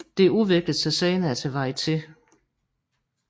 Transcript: Det udviklede sig senere til varieté